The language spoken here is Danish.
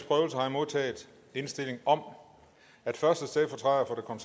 modtaget indstilling om at første stedfortræder for